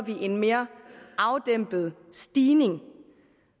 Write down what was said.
en mere afdæmpet stigning